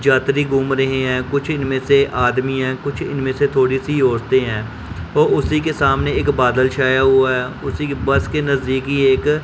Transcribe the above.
जातरी घूम रहीं हैं कुछ इनमें से आदमी है कुछ इनमें से थोड़ी सी औरते है और उसी के सामने एक बादल छाया हुआ है उसी के बस के नजदीकी एक--